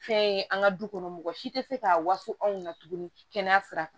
Fɛn ye an ka du kɔnɔ mɔgɔ si tɛ se k'a waso anw na tuguni kɛnɛya sira kan